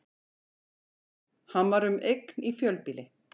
Hann var um eign í fjölbýli